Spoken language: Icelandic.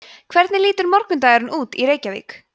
hvernig lítur morgundagurinn út í reykjavík